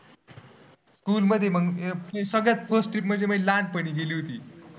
School मध्ये सगळ्यात first trip म्हणजे लहानपणी गेली होती.